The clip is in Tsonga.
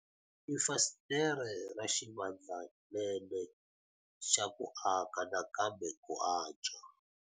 I fasitere ra xivandlanene xa ku aka nakambe ku antswa.